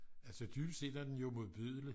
altså dybest set er den jo modbydelig